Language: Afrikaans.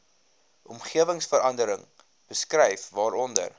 omgewingsverandering beskryf waaronder